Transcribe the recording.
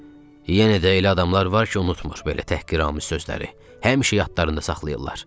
Yenə də elə adamlar var ki, unudur belə təhqiramiz sözləri, həmişə yadlarında saxlayırlar.